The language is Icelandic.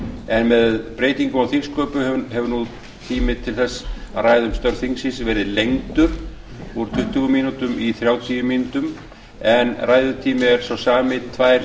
en með breytingum á þingsköpum hefur nú tími til þess að ræða um störf þingsins verið lengdur úr tuttugu mínútum í þrjátíu mínútur en ræðutími er sá sami tvær